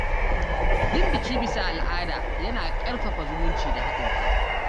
Yin biki bisa al’ada yana ƙarfafa zumunci da haɗin kai.